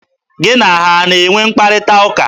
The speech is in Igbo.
Gị na ha a na-enwe mkparịtaụka?